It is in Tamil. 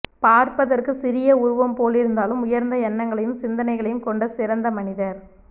பார்பதற்கு சிறிய வுருவம் போலிருந்தாலும் உயர்ந்த எண்ணகளையும் சிந்தனையும் கொண்டசிறந்த மனிதர்